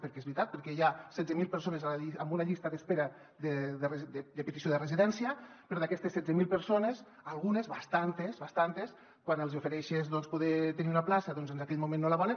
perquè és veritat perquè hi ha setze mil persones en una llista d’espera de petició de residència però d’aquestes setze mil persones algunes bastantes bastantes quan els hi ofereixes poder tenir una plaça doncs en aquell moment no la volen